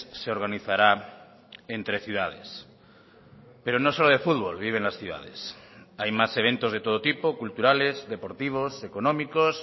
se organizará entre ciudades pero no solo de fútbol viven las ciudades hay más eventos de todo tipo culturales deportivos económicos